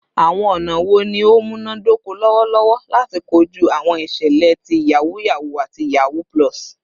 Awọn ọna wo ni o munadoko lọwọlọwọ lati koju awọn iṣẹlẹ ti yahoo yahoo ati yahoo +?